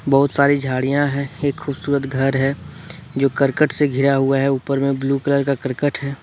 बहुत सारी झाड़ियां हैं एक खूबसूरत घर है जो करकट से घिरा हुआ है ऊपर में ब्लू कलर का करकट है।